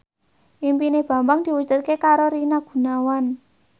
impine Bambang diwujudke karo Rina Gunawan